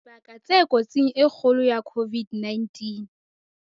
Dibaka tse kotsing e kgolo ya COVID-19